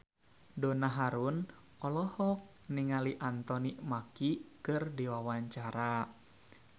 Donna Harun olohok ningali Anthony Mackie keur diwawancara